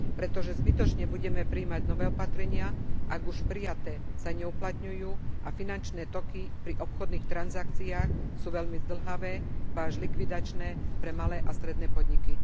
Pretože zbytočne budeme prijímať nové opatrenia, ak už prijaté sa neuplatňujú a finančné toky pri obchodných transakciách sú veľmi zdĺhavé, ba až likvidačné pre malé a stredné podniky.